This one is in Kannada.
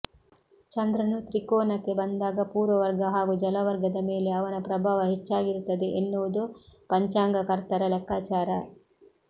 ಚಂದ್ರನು ತ್ರಿಕೋನಕ್ಕೆ ಬಂದಾಗ ಭೂವರ್ಗ ಹಾಗೂ ಜಲವರ್ಗದ ಮೇಲೆ ಅವನ ಪ್ರಭಾವ ಹೆಚ್ಚಾಗಿರುತ್ತದೆ ಎನ್ನುವುದು ಪಂಚಾಂಗಕರ್ತರ ಲೆಕ್ಕಾಚಾರ